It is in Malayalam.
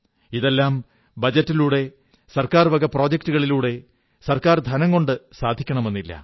ഇതെല്ലാം ബജറ്റിലൂടെ സർക്കാർ വക പദ്ധതികളിലൂടെ സർക്കാർ ധനം കൊണ്ട് സാധിക്കണമെന്നില്ല